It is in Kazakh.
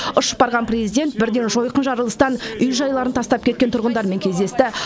ұшып барған президент бірден жойқын жарылыстан үй жайларын тастап кеткен тұрғындармен кездесті